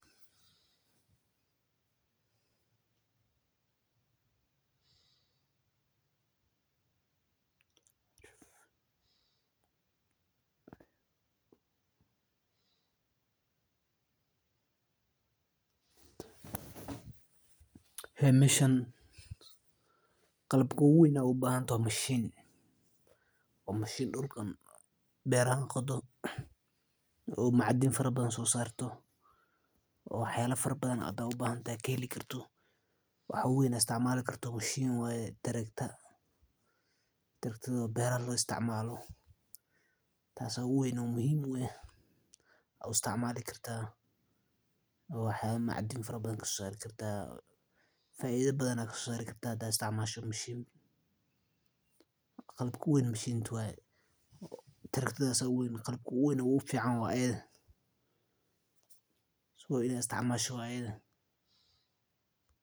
Meeshan qalabka ugu weyn aad ubahan tahay waa mashiin beerahan qodo waxa ugu weyn waa tarakta beeraha loo isticmaalo oo muhiim ah faida badan ayaa kasoo saari kartaa haadaad isticmaasho taraktada ayaa igu weyn waxa la isticmaalaa saas ayeey faida uledahay.